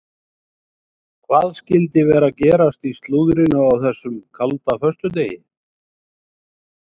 Hvað skyldi vera að gerast í slúðrinu á þessum kalda föstudegi?